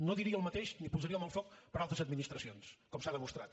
no diria el mateix ni posaria la mà al foc per a altres administracions com s’ha demostrat